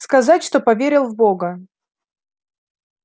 сказать что поверил в бога